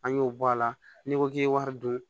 An y'o bɔ a la n'i ko k'i ye wari dun